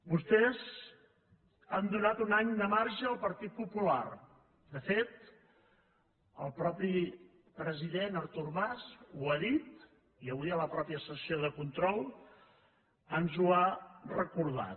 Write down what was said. vostès han donat un any de marge al partit popular de fet el mateix president artur mas ho ha dit i avui a la mateixa sessió de control ens ho ha recordat